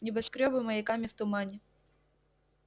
небоскрёбы маяками в тумане